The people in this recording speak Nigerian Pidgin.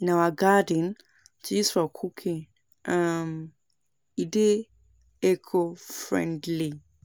in our garden to use for cooking, um e dey eco-friendly.